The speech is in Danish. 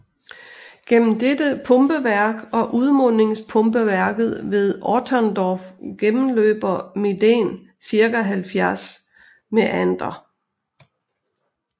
Mellem dette pumpeværk og udmundingspumpeværket ved Otterndorf gennemløber Medem ca 70 Mæander